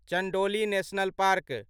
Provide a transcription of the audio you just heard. Chandoli national park